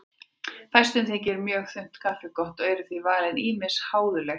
Fæstum þykir mjög þunnt kaffi gott og eru því valin ýmis háðuleg heiti.